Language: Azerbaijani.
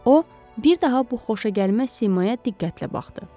O, bir daha bu xoşagəlməz simaya diqqətlə baxdı.